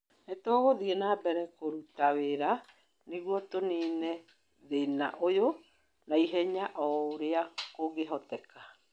nĩ tũgũthiĩ na mbere kũruta wĩra nigũo tũniine thĩna ũyũ na ihenya o ũrĩa kũngĩhoteka